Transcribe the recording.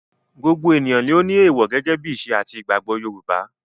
Gbogbo èèyàn ló ni èèwò gẹ́gẹ́ bí ìṣe àti ìgbàgbọ́ Yorùbá.